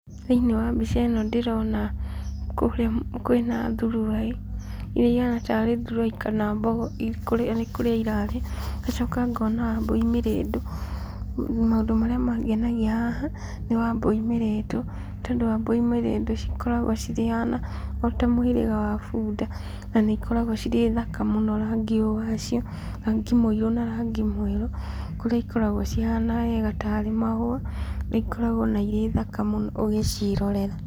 Thĩinĩ wa mbica ĩno ndĩrona kũrĩa kwĩna thuruai, iria ihana tarĩ thuruai kana mbogo iria nĩ kũrĩa irarĩa, ngacoka ngona wambũi mĩrĩndũ. Maũndũ marĩa mangenagia haha, nĩ wambũi mĩrĩndũ, nĩ tondũ wambũi mĩrĩndũ cikoragwo cirĩ ona ota mũhĩrĩga wa bunda, na nĩ ikoragwo cirĩ thaka mũno rangi ũyũ wacio, rangi mũirũ na rangi mwerũ, kũrĩa ikoragwo cihana wega tarĩ mahũa, nĩ ikoragwo ona irĩ thaka mũno ũgĩciĩrorera.